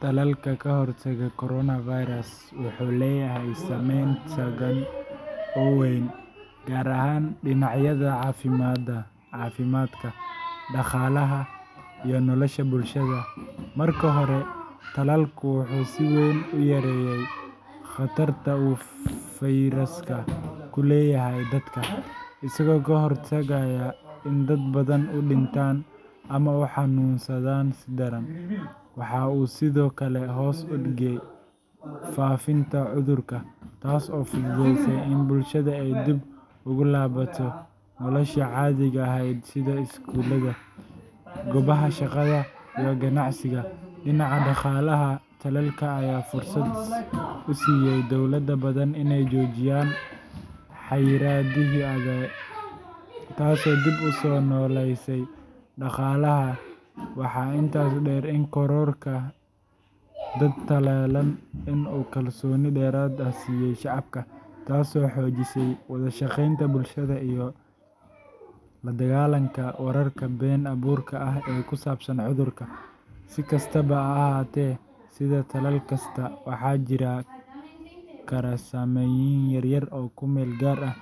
Tallalka ka hortagga coronavirus wuxuu leeyahay saameyn togan oo weyn, gaar ahaan dhinacyada caafimaadka, dhaqaalaha, iyo nolosha bulshada. Marka hore, tallalku wuxuu si weyn u yareeyay khatarta uu fayraska ku leeyahay dadka, isagoo ka hortagaya in dad badan u dhintaan ama u xanuunsadaan si daran. Waxa uu sidoo kale hoos u dhigay faafitaanka cudurka, taas oo fududeysay in bulshada ay dib ugu laabato noloshii caadiga ahayd sida iskuulada, goobaha shaqada, iyo ganacsiga. Dhinaca dhaqaalaha, tallalka ayaa fursad u siiyay dowlado badan inay joojiyaan xayiraadihii adag, taasoo dib u soo noolaysay dhaqaalaha. Waxaa intaas dheer in kororka dad tallaalan uu kalsooni dheeraad ah siiyay shacabka, taasoo xoojisay wada-shaqeynta bulshada iyo la dagaallanka wararka been abuurka ah ee ku saabsan cudurka. Si kastaba ha ahaatee, sida tallaal kasta, waxaa jiri kara saameynoyin yar yar oo ku meel gaar ah